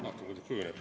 Vaatame, kuidas kujuneb.